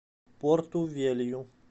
порту велью